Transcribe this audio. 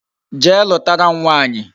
Jee lutara m nwaanyi